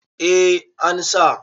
eh an sa